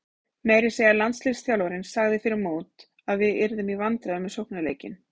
Meira að segja landsliðsþjálfarinn sagði fyrir mót að við yrðum í vandræðum með sóknarleikinn.